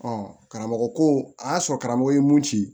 karamɔgɔ ko a y'a sɔrɔ karamɔgɔ ye mun ci